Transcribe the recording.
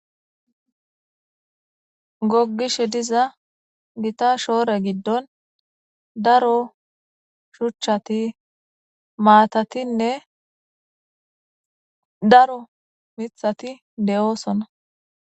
Gogishe diza gita shoore giddon daro shuchchati maatatinne daro mithati de7oosona